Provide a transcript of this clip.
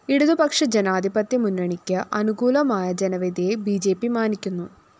ഇടതു പക്ഷജനാധിപത്യ മുന്നണിയ്ക്ക് അനുകൂലമായ ജനവിധിയെ ബി ജെ പി മാനിക്കുന്നു